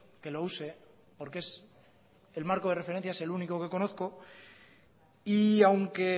que lo use porque es el marco de referencia es el único que conozco y aunque